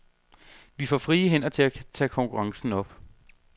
Vi får frie hænder til at tage konkurrencen op.